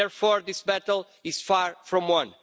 Therefore, this battle is far from won.